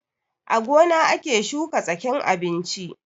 A gona ake shuka tsakin abinchi